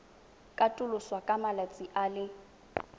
katoloswa ka malatsi a le